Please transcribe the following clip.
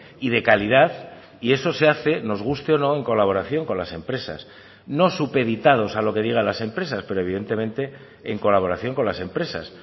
y de calidad y eso se hace nos guste o no en colaboración con las empresas no supeditados a lo que diga las empresas pero evidentemente en colaboración con las empresas